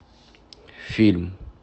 фильм